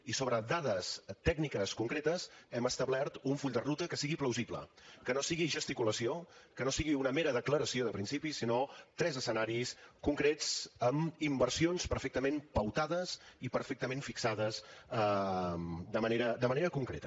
i sobre dades tècniques concretes hem establert un full de ruta que sigui plausible que no sigui gesticulació que no sigui una mera declaració de principis sinó tres escenaris concrets amb inversions perfectament pautades i perfectament fixades de manera concreta